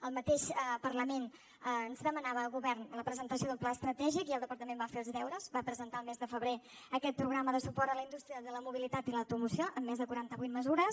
el parlament mateix ens demanava al govern la presentació d’un pla estratègic i el departament va fer els deures va presentar el mes de febrer aquest programa de suport a la indústria de la mobilitat i l’automoció amb més de quaranta vuit mesures